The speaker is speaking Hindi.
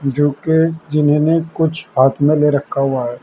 जो कि जिन्होंने कुछ हाथ में ले रखा हुआ है।